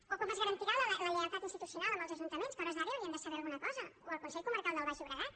o com es garantirà la lleialtat institucional amb els ajuntaments que a hores d’ara ja haurien de saber alguna cosa o el consell comarcal del baix llobregat